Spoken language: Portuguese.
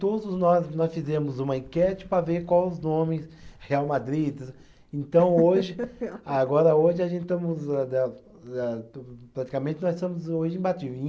Todos nós, nós fizemos uma enquete para ver qual os nomes, Real Madrid, então hoje, agora hoje a gente estamos usando, praticamente nós estamos hoje